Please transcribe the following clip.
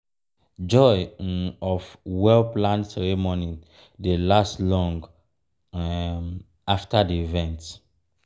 joy um of well-planned ceremony dey last long um after the event.